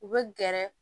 U bɛ gɛrɛ